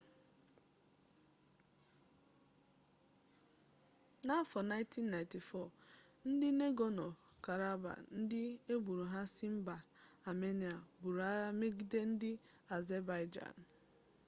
n'afọ 1994 ndị negorno-karabakh ndị agbụrụ ha si mba amenịa buru agha megide ndị azebaịjan